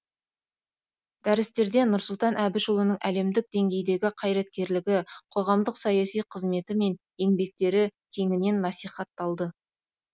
дәрістерде нұрсұлтан әбішұлының әлемдік деңгейдегі қайраткерлігі қоғамдық саяси қызметі мен еңбектері кеңінен насихатталды